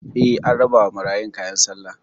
Eh, an rabawa marayun kayan sallah